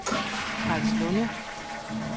Karlslunde